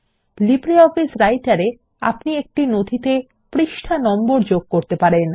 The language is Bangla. লিব্রিঅফিস রাইটার এ আপনি একটি নথিতে পৃষ্ঠা নম্বর যোগ করতে পারবেন